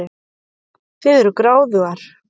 Þið eruð gráðugar.